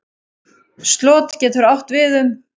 Slot getur átt við um